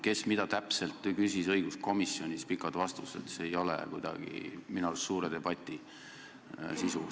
Kes mida täpselt õiguskomisjonis küsis, pikad vastused – see ei ole minu arust kuidagi suure debati sisu.